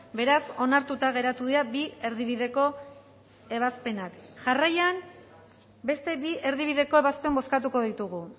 beraz onartuta geratu dira bi erdibideko ebazpenak jarraian beste bi erdibideko ebazpen bozkatuko ditugu